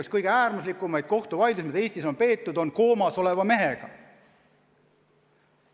Üks kõige äärmuslikumaid kohtuvaidlusi, mis Eestis on peetud, on koomas oleva mehega.